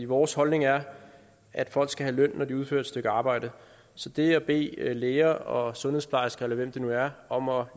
vores holdning er at folk skal have løn når de udfører et stykke arbejde så det at bede læger og sundhedsplejersker eller hvem det nu er om at